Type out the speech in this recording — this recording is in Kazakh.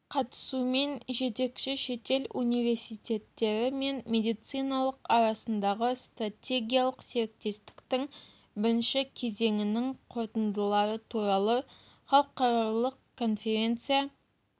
қатысуымен жетекші шетел университеттері мен медициналық арасындағы стратегиялық серіктестіктің бірінші кезеңінің қорытындылары туралы халықаралық конференция